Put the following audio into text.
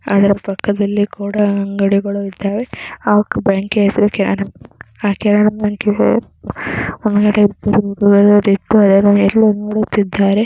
ಅದರ ಪಕ್ಕದಲ್ಲಿ ಕೂಡ ಅಂಗಡಿಗಳು ಇದ್ದಾವೆ.